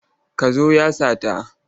Kaza ya sata.